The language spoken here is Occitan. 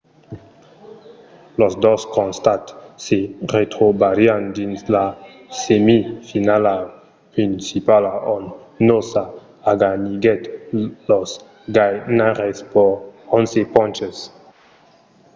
los dos costats se retrobarián dins la semifinala principala ont noosa aganiguèt los ganhaires per 11 ponches